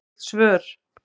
Vill svör